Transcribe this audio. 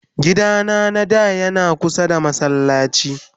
gida na na da Yana kusa da masallaci.